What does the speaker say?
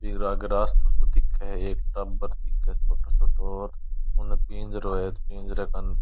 एक रास्ता को दिखे है एक टाबर दिखे है छोटो छोटो और उनने पिंजरों है पिंजरे कण --